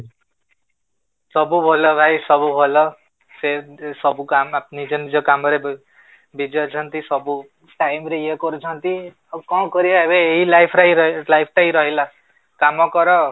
ସବୁ ଭଲ ଭାଇ, ସବୁ ଭଲ ସେମିତି ସବୁ ନିଜ ନିଜ କାମ ରେ busy ଅଛନ୍ତି ସବୁ, time ରେ ଇଏ କରୁଛନ୍ତି ଆଉ କଣ କରିବା ଏବେ ଏଇ life ରେ ହି ରହିବା, ଏଇ life ଟା ହି ରହିଲା କାମ କର